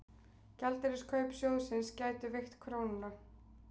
Gjaldeyriskaup sjóðsins gætu veikt krónuna